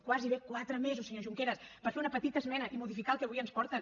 gairebé quatre mesos senyor junqueras per fer una petita esmena i modificar el que avui ens porten